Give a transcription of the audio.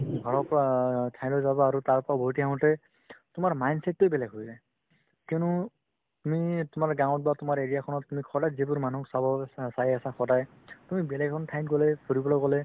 ঘৰৰ পৰা এঠাইলৈ যাবা আৰু তাৰ পৰা উভতি আহোতে তোমাৰ mindset তোয়ে বেলেগ হৈ যায় কিয়নো তুমি তোমাৰ গাওঁত বা তোমাৰ area খনত তুমি সদায় যিবোৰ মানুহ চাব চা~ চাই আছা সদায় তুমি বেলেগ এখন ঠাইত গ'লে ফুৰিবলৈ গ'লে